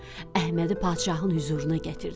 Əhmədi padşahın hüzuruna gətirdilər.